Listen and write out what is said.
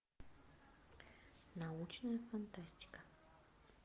научная фантастика